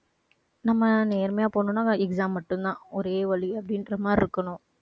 நம்ம நேர்மையா போகணும்னா exam மட்டும்தான். ஒரே வழி அப்படின்ற மாதிரி இருக்கணும்